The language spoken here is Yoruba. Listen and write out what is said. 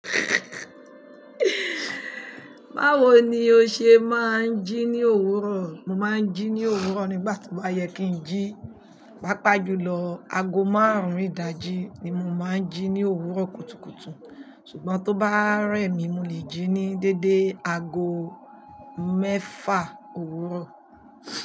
Báwo ni o ṣe máa ń jí ní òwúrọ̀? Mo máa ń jí ní òwúrọ̀ nígbà tí ó bá yẹ kí ń jí. Pàápàá jù lọ, ago márùn-ún ìdájí ni mo máa ń jí ní òwúrọ̀ kùtùkùtù. Ṣùgbọ́n tó bá rẹ̀ mí, mo lè jí ní dédé ago mẹ́fà òwúrọ̀.